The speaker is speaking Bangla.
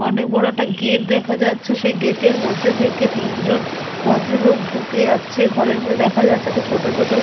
অনেক বড় একটা গেট দেখা যাচ্ছে সেই গেট এর মধ্যে থেকে তিনজন ভদ্রলোক ঢুকে যাচ্ছে ঘরের মধ্যে দেখা যাচ্ছে একটা ছোট ছোট--